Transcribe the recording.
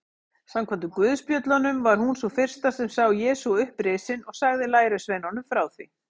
Samkvæmt guðspjöllunum var hún sú fyrsta sem sá Jesú upprisinn og sagði lærisveinunum frá því.